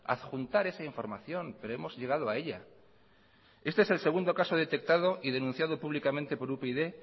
adjuntar esa información pero hemos llegado a ella este es el segundo caso detectado y denunciado públicamente por upyd